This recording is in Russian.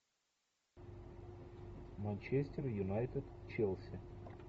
манчестер юнайтед челси